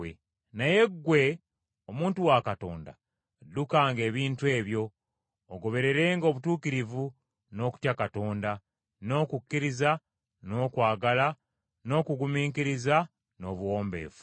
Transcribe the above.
Naye ggwe, omuntu wa Katonda, ddukanga ebintu ebyo, ogobererenga obutuukirivu, n’okutya Katonda, n’okukkiriza, n’okwagala, n’okugumiikiriza, n’obuwombeefu.